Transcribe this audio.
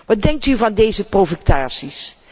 Wat denkt u van deze provocaties?